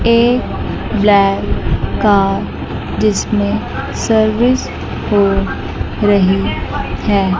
एक black car जिसमें service हो रही है।